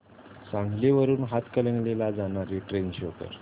सांगली वरून हातकणंगले ला जाणारी ट्रेन शो कर